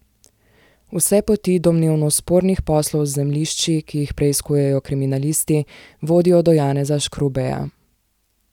Vse poti domnevno spornih poslov z zemljišči, ki jih preiskujejo kriminalisti, vodijo do Janeza Škrubeja.